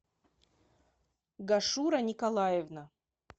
гашура николаевна